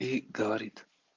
и говорит